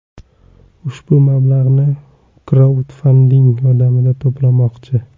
Ushbu mablag‘ni u kraudfanding yordamida to‘plamoqchi.